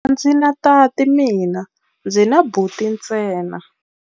A ndzi na tati mina, ndzi na buti ntsena.